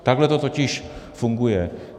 Takhle to totiž funguje.